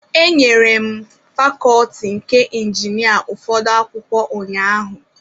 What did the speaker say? Enyere m fakọlti nke injinia ụfọdụ akwụkwọ ụnyahụ.